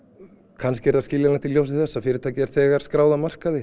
kannski er það skiljanlegt í ljósi þess að fyrirtækið er þegar skráð á markaði